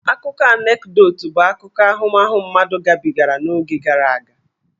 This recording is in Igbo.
Akụkọ Anekdot bụ akụkọ ahụmahụ mmadụ gabigara n'oge gara aga.